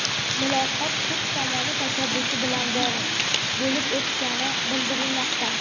Muloqot turk tomoni tashabbusi bilan bo‘lib o‘tgani bildirilmoqda.